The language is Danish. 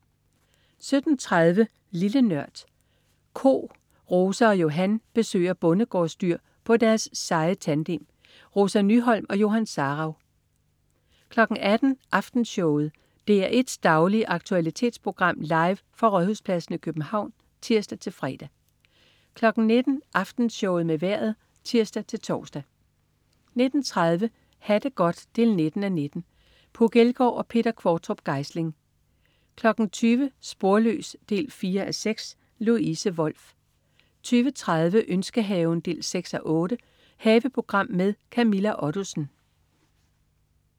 17.30 Lille Nørd. Ko. Rosa og Johan besøger bondegårdsdyr på deres seje tandem. Rosa Nyholm og Johan Sarauw 18.00 Aftenshowet. DR1's daglige aktualitetsprogram, live fra Rådhuspladsen i København (tirs-fre) 19.00 Aftenshowet med Vejret (tirs-tors) 19.30 Ha' det godt 19:19. Puk Elgård og Peter Qvortrup Geisling 20.00 Sporløs 4:6. Louise Wolff 20.30 Ønskehaven 6:8. Haveprogram med Camilla Ottesen